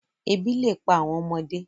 Ebi le pa awọn ọmọde